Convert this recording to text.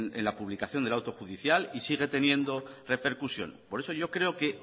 en la publicación del auto judicial y sigue teniendo repercusión por eso yo creo que